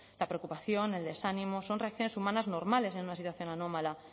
la preocupación el desánimo son reacciones humanas normales en una situación anómala